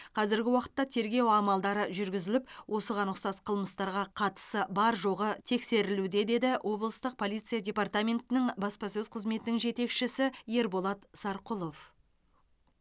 қазіргі уақытта тергеу амалдары жүргізіліп осыған ұқсас қылмыстарға қатысы бар жоғы тексерілуде деді облыстық полиция департаментінің баспасөз қызметінің жетекшісі ерболат сарқұлов